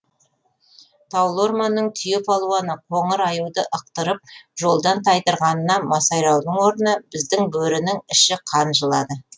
таулы орманның түйе палуаны қоңыр аюды ықтырып жолдан тайдырғанына масайраудың орнына біздің бөрінің іші қан жылады